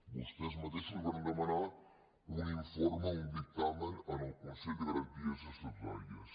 vostès mateixos varen demanar un informe un dic·tamen al consell de garanties estatutàries